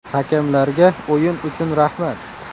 Hakamlarga o‘yin uchun rahmat.